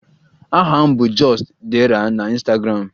Aha m bụ just_dera na Ịnstagramụ